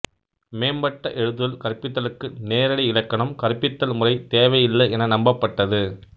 மேம்பட்ட எழுதுதல் கற்பித்தலுக்குநேரடி இலக்கணம் கற்பித்தல் முறை தேவை இல்லை என நம்பப்பட்டது